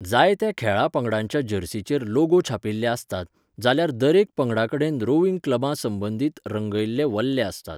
जायत्या खेळां पंगडांच्या जर्सीचेर लोगो छापिल्ले आसतात, जाल्यार दरेका पंगडाकडेन रोविंग क्लबां संबंदीत रंगयल्ले वल्हे आसतात.